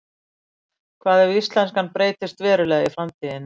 hvað ef íslenskan breytist verulega í framtíðinni